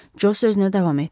Co sözünə davam etdi.